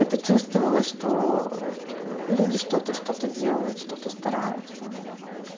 это чувствовалось что люди что-то что-то делают что-то стараются